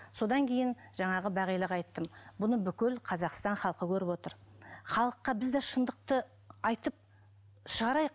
содан кейін жаңағы бағилаға айттым бұны бүкіл қазақстан халқы көріп отыр халыққа біз де шындықты айтып шығарайық